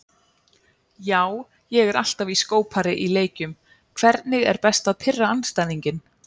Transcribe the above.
Já, ég er alltaf í skópari í leikjum Hvernig er best að pirra andstæðinginn?